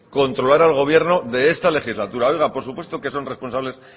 controlar al gobierno de esa legislatura oiga por supuesto que son responsables